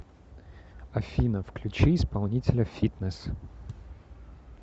афина включи исполнителя фитнесс